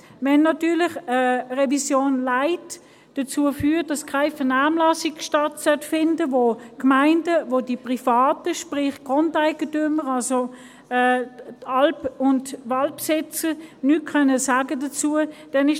Es ist für mich natürlich störend, wenn eine «Revision Light» dazu führt, dass keine Vernehmlassung stattfinden soll und dass die Gemeinden und die Privaten, sprich: die Grundeigentümer, also die Alp- und Waldbesitzer, nichts dazu sagen können.